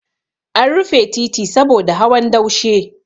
An rufe titi saboda hawan daushe.